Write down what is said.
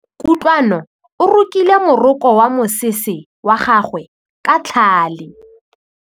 Kutlwanô o rokile morokô wa mosese wa gagwe ka tlhale.